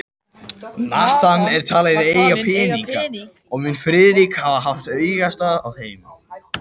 Nathan var talinn eiga peninga, og mun Friðrik hafa haft augastað á þeim.